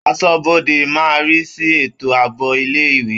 Aṣọ́bodè máa ń rí sí ètò àbò ilé-ìwé.